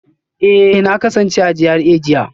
Eh na kasance a GRA jiya